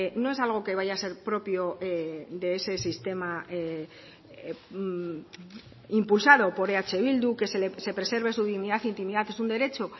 no es algo que vaya a ser propio de ese sistema impulsado por eh bildu que se preserve su dignidad intimidad es un derecho